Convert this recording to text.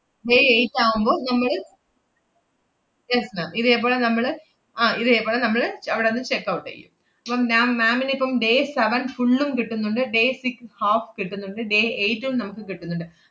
May eight ആവുമ്പൊ നമ്മള് yes ma'am ഇതേപോലെ നമ്മള് ആഹ് ഇതേപോലെ നമ്മള് അവിടന്ന് checkout ചെയ്യും. ~പ്പം ma'am ma'am നിപ്പം day seven full ഉം കിട്ടുന്നുണ്ട് day six half കിട്ടുന്നുണ്ട്, day eight ഉം നമ്മക്ക് കിട്ടുന്നുണ്ട്.